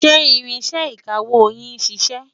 ṣé ìrínsẹ̀ ìkàwó yín ṣiṣẹ?